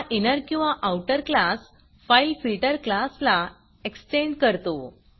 हा इनर किंवा outer class fileFilterफाइल फिल्टर क्लासला एक्स्टेंड करतो